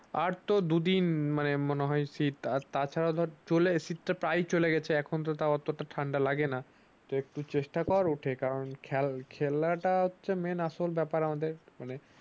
আর তো দুদিন মনে হয় শীত আর তা ছাড়া চলে শীত টা প্রায় চলে গেছে এখন তো টা এত টা ঠান্ডা লাগে না একটু চেষ্টা করে উঠে খেলা টা হচ্ছে মেন আসল ব্যাপার আমাদের